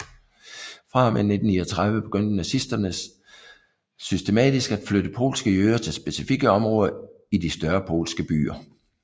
Fra og med 1939 begyndte nazisterne systematisk at flytte polske jøder til specifikke områder i de større polske byer